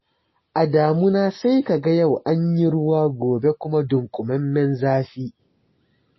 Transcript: Da damuna sai kaga yau an yi ruwa gobe kuma dunkumammen zafi.